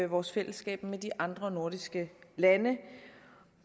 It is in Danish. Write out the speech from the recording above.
vores fællesskab med de andre nordiske lande